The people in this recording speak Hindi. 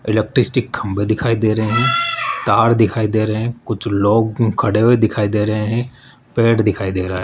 इलेक्ट्रिसिटीक खंभे दिखाई दे रहे हैं तार दिखाई दे रहे हैं कुछ लोग खड़े हुए दिखाई दे रहे हैं प्लेट दिखाई दे रहा है।